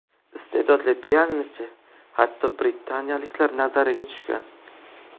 Iste’dodli pianinochi hatto britaniyaliklar nazariga tushgan.